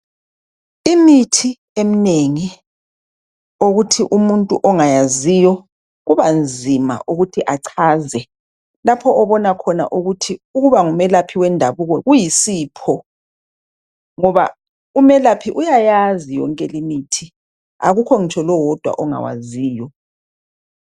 Imithi eminengi okuthi umuntu ongayaziyo kabanzima ukuthi achaze lapho obona khona ukuthi ukuba ngumelaphi wendabuko kuyisipho. Ngoba umelaphi uyayazi yonke limithi. Akula ngitsho lowodwa ongawaziyo.